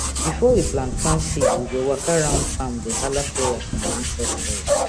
before we plant plant seed we go waka round farm dey hala prayer from ancestors